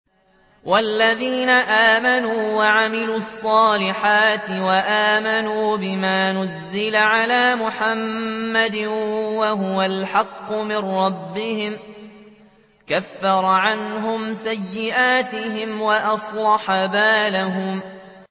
وَالَّذِينَ آمَنُوا وَعَمِلُوا الصَّالِحَاتِ وَآمَنُوا بِمَا نُزِّلَ عَلَىٰ مُحَمَّدٍ وَهُوَ الْحَقُّ مِن رَّبِّهِمْ ۙ كَفَّرَ عَنْهُمْ سَيِّئَاتِهِمْ وَأَصْلَحَ بَالَهُمْ